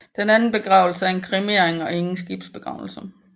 Den anden begravelse er en kremering og ingen skibsbegravelse